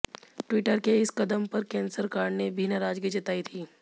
Twitter के इस कदम पर केंद्र सरकार ने भी नाराजगी जताई थी